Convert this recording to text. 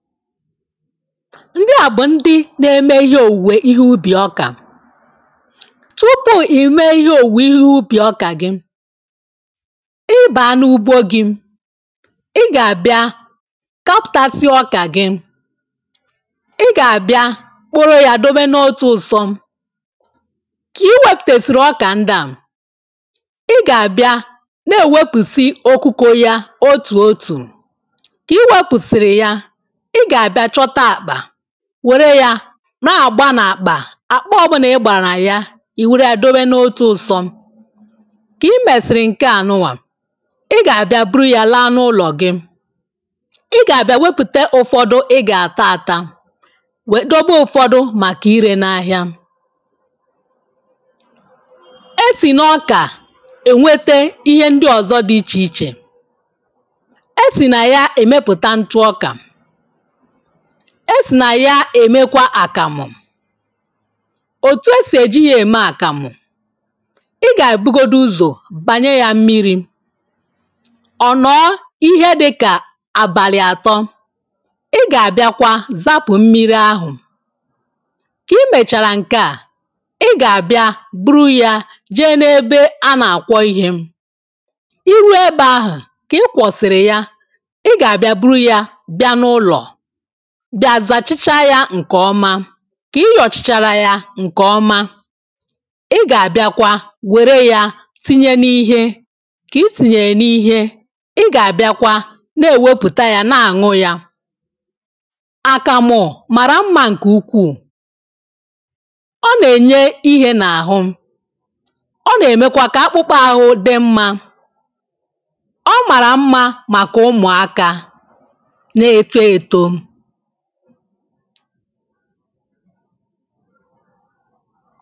Ndị a bụ̀ ndị na-eme ihe òwùwè ihe ubì ọkà. Tupu ì mee ihe òwùwè ihe ubì ọkà gị, ị bàa n’ugbo gị, ị gà-àbịa kapàsi ọkà gị. ị gà-àbịa kporo ya, adọbe n’otu ụsọ. kà i wepùtèsìrì ọkà ndị a. ị gà-àbịa na-èwepù si okukȯ ya otù òtù. Ka iwepurusi ya, ị gà-àbịa chọta àkpà, wère ya na-àgba n’àkpà. Àkpa ọbụnà ị gbàrà ya, ì wère ya dobe n’otu ụsọ. Kà i mèsị̀rị̀ ǹke à nụnwà, ị gà-àbịa buru ya laa n’ụlọ̀ gị. I gà-àbịa wepùte ụ̀fọdụ, ị gà-àta àta, wee dobe ụ̀fọdụ màkà irē na ahịa. E sì n’ọkà ènwete ihe ndị ọ̀zọ dị ichè ichè. E sì nà ya èmepùta ntụ ọkà. E sì nà ya èmekwa àkàmụ̀. Òtù e sì èji ya ème àkàmụ̀: ị gà-àbụgodụ uzò bànye ya mmiri̇. Ọ nọ̀ọ ihe dịkà àbàlị̀ àtọ. ị gà-àbịakwa zapụ̀ mmiri ahụ̀. kà i mèchàrà ǹke à. ị gà-àbịa buru ya jee n’ebe a nà-àkwọ ihē. Ì rùo ebe ahụ̀, kà i kwọ̀sị̀rị̀ ya. ị gà-àbịa buru ya bịa n’ụlọ̀, bịa zàchaa ya ǹkè ọma. Kà ị yọ̀chàchàra ya ǹkè ọma, ị gà-àbịakwa wère ya tinye n’ihe. Kà i tìnyèrè n’ihe, ị gà-àbịakwa na-èwepùta ya na-àṅụ ya. Àkàmụ̀ màrà mmȧ ǹkè ukwuù, ọ nà-ènye ihē n’àhụ. Ọ̀ nà-èmekwa kà akpụkpà ahụ dị mmȧ. Ọ màrà mmȧ màkà ụmụ̀aka na-èto èto.